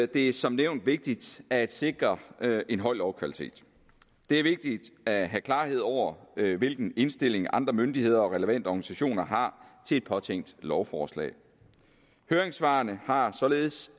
det som nævnt vigtigt at sikre en høj lovkvalitet det er vigtigt at have klarhed over hvilken indstilling andre myndigheder og relevante organisationer har til et påtænkt lovforslag høringssvarene har således